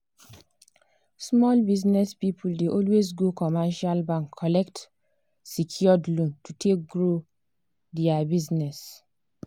small business people dey always go commercial bank collect secured loan to take grow their business.